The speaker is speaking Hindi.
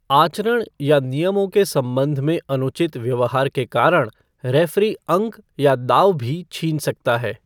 आचरण या नियमों के संबंध में अनुचित व्यव्हार के कारण रेफ़री अंक या दाव भी छीन सकता है।